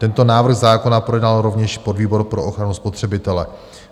Tento návrh zákona projednal rovněž podvýbor pro ochranu spotřebitele.